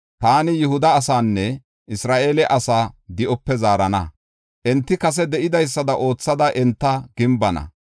Taani Yihuda asaanne Isra7eele asaa di7ope zaarana; enti kase de7idaysada oothada enta gimbana.